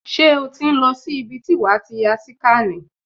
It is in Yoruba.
Ṣé o ti ń lọ sí ibi tí wàá ti ya síkànì?